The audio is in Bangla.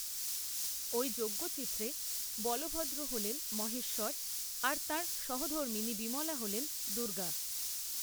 ওই যজ্ঞচিত্রে, বলভদ্র হলেন মহেশ্বর, আর তাঁর সহধর্মিণী বিমলা হলেন, দুর্গা